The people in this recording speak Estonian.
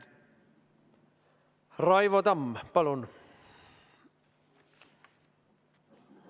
Raivo Tamm, palun!